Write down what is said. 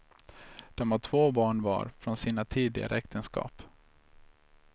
De har två barn var från sina tidigare äktenskap.